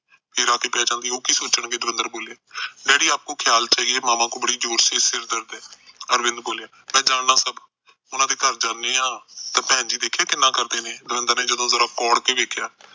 ਫੇਰ ਰਾਤ ਪੈ ਜਾਂਦੀ ਉਹ ਕੀ ਸੋਚਣ ਦਵਿੰਦਰ ਬੋਲੇ ਡੈਡੀ ਆਪ ਕੋ ਖਿਆਲ ਚਾਹੀਏ ਮਾਮਾ ਕੋ ਜੋਰ ਸੇ ਸਿਰ ਦਰਦ ਹੈ ਅਰਵਿੰਦ ਮੈ ਜਾਣਦਾ ਸਭ ਉਹਨਾ ਦੇ ਘਰ ਜਾਂਦੇ ਆ ਤਾ ਭੈਣ ਜੀ ਦੇਖਿਆ ਕਿੰਨਾ ਕਰਦੇ ਨੇ ਦਵਿੰਦਰ ਨੇ ਜਦੋ ਜਿਨਾ ਕੋੜ ਕੇ ਵੇਖਿਆ